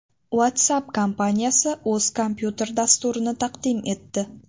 WhatsApp kompaniyasi o‘z kompyuter dasturini taqdim etdi.